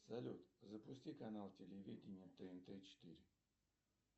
салют запусти канал телевидения тнт четыре